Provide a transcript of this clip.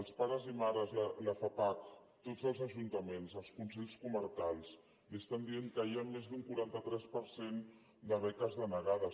els pares i mares la fapac tots els ajuntaments i els consells comarcals li estan dient que hi ha més d’un quaranta tres per cent de beques denegades